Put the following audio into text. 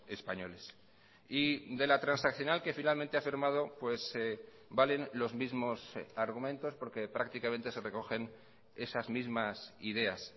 españoles y de la transaccional que finalmente ha firmado valen los mismos argumentos porque prácticamente se recogen esas mismasideas